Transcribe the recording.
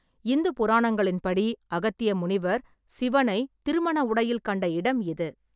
இந்து புராணங்களின் படி, அகத்திய முனிவர் சிவனை திருமண உடையில் கண்ட இடம் இது.